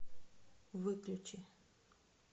выключи